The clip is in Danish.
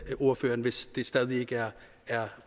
ordføreren hvis det stadig væk ikke er